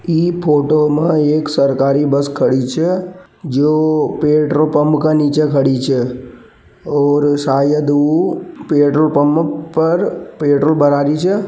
यह फोटो में एक सरकारी बस खड़ी छ जो पेट्रोल पप का नीचे खड़ी छे और शायद पेट्रोल पप में पर पेट्रोल भरवारी छे।